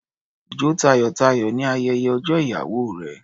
Jó tayọ̀-tayọ̀ ní ayẹyẹ ọjọ́ ìyàwó rẹ.